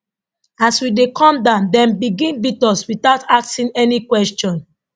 as we dey come down dem begin beat us wit out asking any question